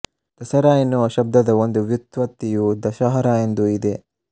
ದಸರಾ ಎನ್ನುವ ಶಬ್ದದ ಒಂದು ವ್ಯುತ್ಪತ್ತಿಯು ದಶಹರಾ ಎಂದೂ ಇದೆ